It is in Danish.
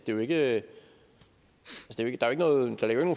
jo ikke nogen